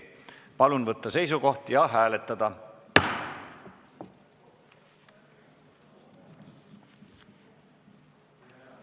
Palun võtta seisukoht ja hääletada!